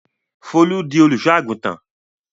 Fọlá di olùṣọ́-àgùntàn?